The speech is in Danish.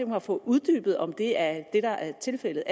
mig få uddybet om det er det der er tilfældet